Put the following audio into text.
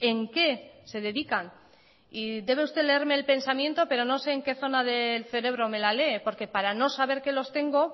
en qué se dedican y debe usted leerme el pensamiento pero no sé en que zona del cerebro me la lee porque para no saber que los tengo